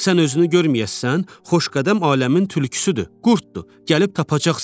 Sən özünü görməyəssən, Xoşqədəm aləmin tülküsüdür, qurddur, gəlib tapacaq səni.